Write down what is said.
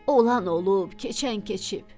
Olan olub, keçən keçib.